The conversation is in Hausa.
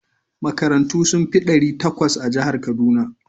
Makarantu sun fi ɗari takwas a jihar Kaduna.